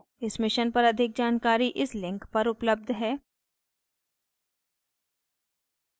इस mission पर अधिक जानकारी इस link पर उपलब्ध है